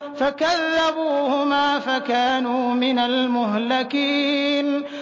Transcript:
فَكَذَّبُوهُمَا فَكَانُوا مِنَ الْمُهْلَكِينَ